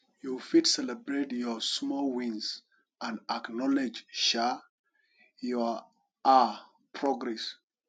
you fit celebrate your small wins and acknowledge um your um progress